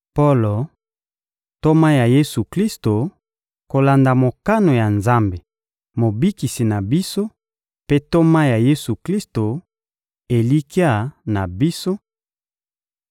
Polo, ntoma ya Yesu-Klisto kolanda mokano ya Nzambe Mobikisi na biso mpe ntoma ya Yesu-Klisto, elikya na biso;